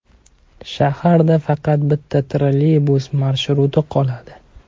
Shaharda faqat bitta trolleybus marshruti qoladi.